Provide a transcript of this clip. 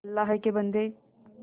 अल्लाह के बन्दे